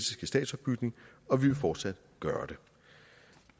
statsopbygning og vi vil fortsat gøre